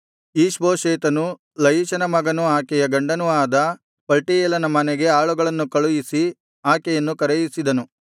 ಈಷ್ಬೋಶೆತನು ಲಯಿಷನ ಮಗನೂ ಆಕೆಯ ಗಂಡನೂ ಆದ ಪಲ್ಟೀಯೇಲನ ಮನೆಗೆ ಆಳುಗಳನ್ನು ಕಳುಹಿಸಿ ಆಕೆಯನ್ನು ಕರೆಯಿಸಿದನು